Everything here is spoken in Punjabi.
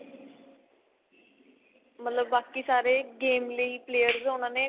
ਮਤਲਬ ਬਾਕੀ ਸਾਰੇ game ਲਈ players ਉਹਨਾ ਨੇ